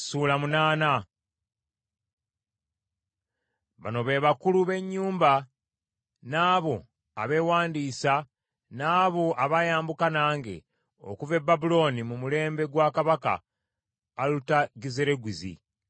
Bano be bakulu b’ennyumba, n’abo abeewandiisa n’abo abaayambuka nange okuva e Babulooni mu mulembe gwa kabaka Alutagizerugizi: